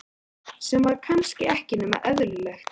Sem var kannski ekki nema eðlilegt.